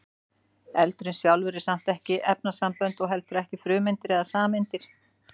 eldurinn sjálfur er samt ekki efnasambönd og heldur ekki frumeindir eða sameindir